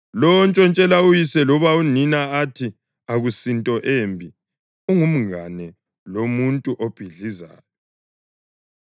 Lowo ontshontshela uyise loba unina athi, “Akusinto embi” ungumngane lomuntu obhidlizayo.